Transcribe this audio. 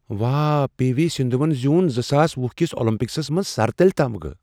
واہ، P V Sindhu ون زِ یوٗن زٕساس ۄہُ کس اولمپکسس منٛز سرتل تمغہٕ